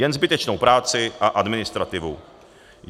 Jen zbytečnou práci a administrativu.